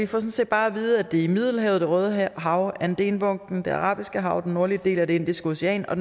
sådan set bare at vide at det er i middelhavet det røde hav adenbugten det arabiske hav den nordlige del af det indiske ocean og